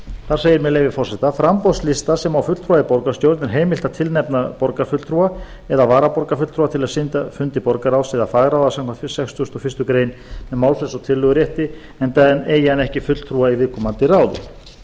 þar segir með leyfi forseta framboðslista sem á fulltrúa í borgarstjórn er heimilt að tilnefna borgarfulltrúa eða varaborgarfulltrúa til að sitja fundi borgarráðs eða fagráða samkvæmt sextugustu og fyrstu grein með málfrelsi og tillögurétti enda eigi hann ekki fulltrúa í viðkomandi